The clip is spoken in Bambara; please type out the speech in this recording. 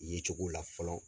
Yecogo la fɔlɔ